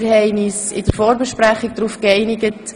In der Vorbesprechung haben wir uns auf folgendes geeinigt: